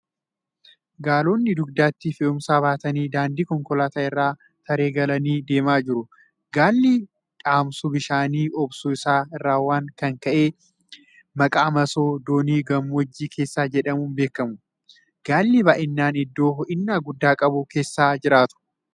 Gaalonni dugdatti fe'umsa baatanii daandii konkolaataa irra taree galanii deemaa jiru. Gaalli dhamsuu bishaanii obsuu isaaanii irrawn kan ka'e : maqaa masoo doonii gammoojjii keessaa jedhamuun beekamu. Gaalli baay'inaan iddoo hoo'ina guddaa qabu keessa jiraatu.